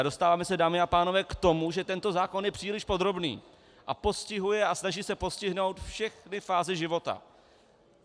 A dostáváme se, dámy a pánové, k tomu, že tento zákon je příliš podrobný a postihuje a snaží se postihnout všechny fáze života.